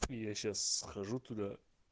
я сейчас схожу туда